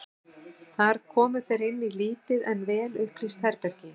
Þar komu þeir inn í lítið en vel upplýst herbergi.